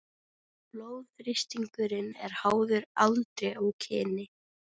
Blóðþrýstingur er háður aldri og kyni.